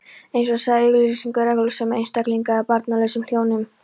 eins og sagði í auglýsingunni: reglusömum einstaklingi eða barnlausum hjónum.